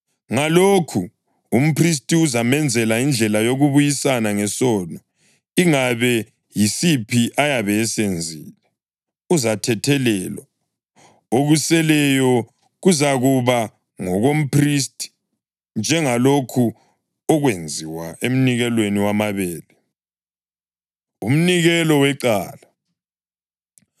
Ngalokhu umphristi uzamenzela indlela yokubuyisana ngesono ingabe yisiphi ayabe esenzile, uzathethelelwa, okuseleyo kuzakuba ngokomphristi, njengalokho okwenziwa emnikelweni wamabele.’ ” Umnikelo Wecala